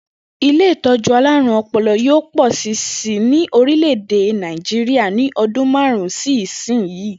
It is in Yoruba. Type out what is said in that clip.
Ilé ìtó̩jú alárùn o̩po̩lo̩ yóò pò̩ si ni orílè̩-èdè Nàìjíríà ní o̩dún márù-ún sí ìsinyìí